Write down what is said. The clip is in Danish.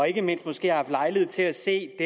ikke mindst har haft lejlighed til at se